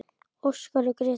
Óskar og Gréta.